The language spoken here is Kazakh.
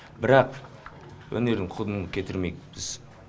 бірақ өнердің құнын кетірмейік біз